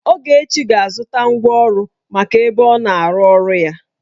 Ogechi ga-azụta ngwa ọrụ maka ebe ọna-arụ ọrụ ya